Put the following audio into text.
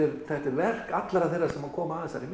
verk allra þeirra sem koma að þessari